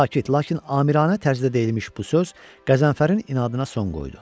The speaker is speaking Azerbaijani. Sakit, lakin amiranə tərzdə deyilmiş bu söz Qəzənfərin inadına son qoydu.